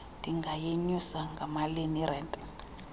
ndingayenyusa ngamalini irente